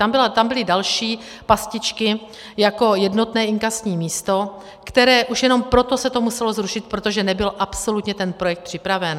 Tam byly další pastičky jako jednotné inkasní místo, které... už jenom proto se to muselo zrušit, protože nebyl absolutně ten projekt připraven.